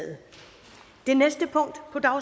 hvordan